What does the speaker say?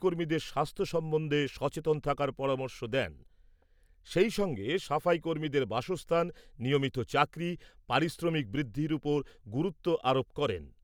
কর্মীদের স্বাস্থ্য সম্বন্ধে সচেতন থাকার পরামর্শ দেন, সেই সঙ্গে সাফাই কর্মীদের বাসস্থান, নিয়মিত চাকরি, পারিশ্রমিক বৃদ্ধির উপর গুরুত্ব আরোপ করেন।